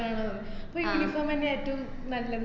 ആണോ അപ്പോ ഈ uniform ന്നെയാ ഏറ്റോം നല്ലത്